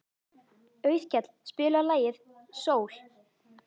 Auðkell, spilaðu lagið „Sól“.